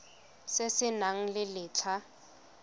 se se nang le letlha